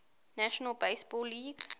national basketball league